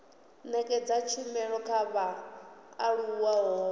nekedza tshumelo kha vhaaluwa ho